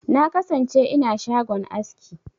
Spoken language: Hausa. Na kasance ina shagon aski.